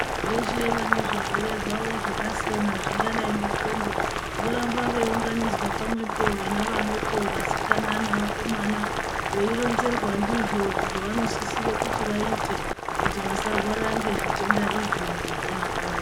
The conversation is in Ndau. Veshe vanezvirwere zvavo zvakasiyana zvingadai ngendxondo voramba veiunganidzwa pamwepo. Vana vadoko, vasikana nevakomana veironzerwa ndizvo zvavanosisire kuti vaite. Kuti vasarwara ngezvitenda izvi mukupona kwavo.